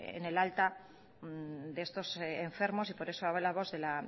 en el alta de estos enfermos y por eso hablamos de la